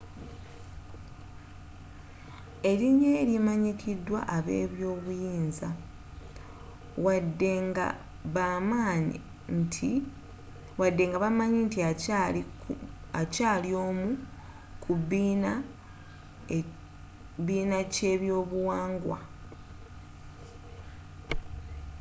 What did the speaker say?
erinyarye likyamanyidwa abebyobuyinza wadde nga bamanyi nti akyaali omu kubiina ky'ebyobuwangwa